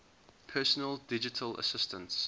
personal digital assistants